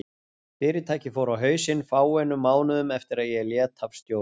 Fyrirtækið fór á hausinn fáeinum mánuðum eftir að ég lét af stjórn.